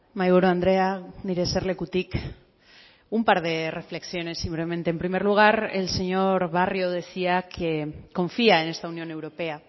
mahaiburu andrea nire eserlekutik un par de reflexiones simplemente en primer lugar el señor barrio decía que confía en esta unión europea